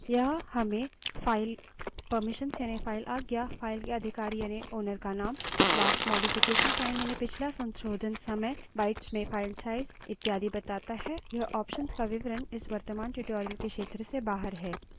यह हमें file permissions यानि file आज्ञा file के अधिकारी यानि owner का name last modification time यानि पिछला संशोधन समय bytes में file size इत्यादि बताता है इस option का विवरण इस वर्त्तमान tutorial के क्षेत्र से बाहर है